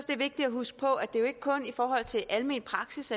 det er vigtigt at huske på at det jo ikke kun er i forhold til almen praksis